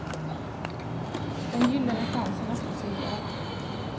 Den gyllene chansen öppnar sig i dag.